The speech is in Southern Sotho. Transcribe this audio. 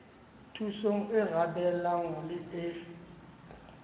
thusong e arabelang le e